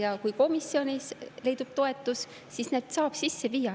Ja kui komisjonis leidub toetus, siis need saab sisse viia.